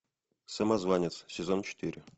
самозванец сезон четыре